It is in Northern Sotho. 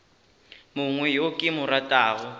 mongwe yo ke mo ratago